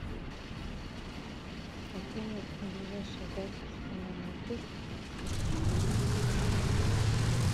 афина ближайшая запись на маникюр и педикюр